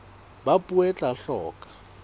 ba puo e tla hloka